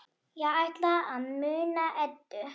Ég ætla að muna Eddu.